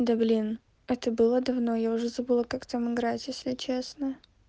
да блин это было давно я уже забыла как там играть если честно